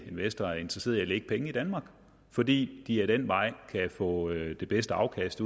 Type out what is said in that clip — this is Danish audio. investorer er interesserede i at lægge penge i danmark fordi de ad den vej kan få det bedste afkast